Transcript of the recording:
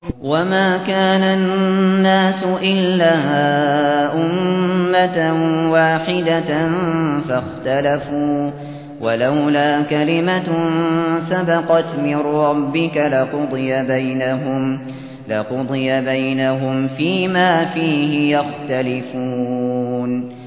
وَمَا كَانَ النَّاسُ إِلَّا أُمَّةً وَاحِدَةً فَاخْتَلَفُوا ۚ وَلَوْلَا كَلِمَةٌ سَبَقَتْ مِن رَّبِّكَ لَقُضِيَ بَيْنَهُمْ فِيمَا فِيهِ يَخْتَلِفُونَ